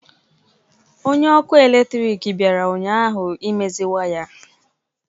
Onye ọkụ eletrik bịara ụnyahụ imezi waya